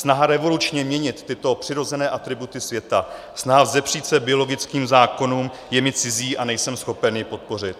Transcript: Snaha revolučně měnit tyto přirozené atributy světa, snaha vzepřít se biologickým zákonům je mi cizí a nejsem schopen je podpořit.